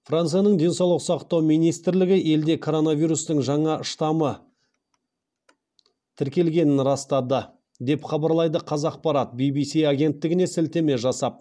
францияның денсаулық сақтау министрлігі елде коронавирустың жаңа штаммы тіркелгенін растады деп хабарлайды қазақпарат ввс агенттігіне сілтеме жасап